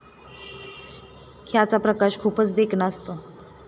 ह्याचा प्रकाश खूपच देखणा असतो.